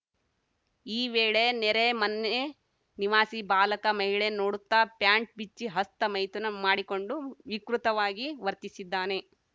ಈ ವೇಳೆ ನೆರೆ ಮನೆ ನಿವಾಸಿ ಬಾಲಕ ಮಹಿಳೆ ನೋಡುತ್ತಾ ಪ್ಯಾಂಟ್‌ ಬಿಚ್ಚಿ ಹಸ್ತ ಮೈಥುನ ಮಾಡಿಕೊಂಡು ವಿಕೃತವಾಗಿ ವರ್ತಿಸಿದ್ದಾನೆ